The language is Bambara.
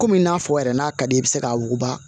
Komi n'a fɔ yɛrɛ n'a ka d'i ye i be se k'a wuguba